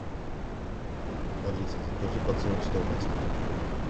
алиса закажи подсолнечное масло